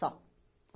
Só.